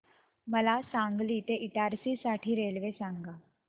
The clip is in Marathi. मला सांगली ते इटारसी साठी रेल्वे सांगा